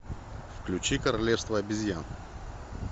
включи королевство обезьян